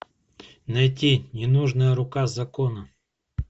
найти ненужная рука закона